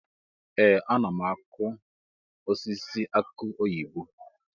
Ee! Ana m akụ osisi aki oyibo.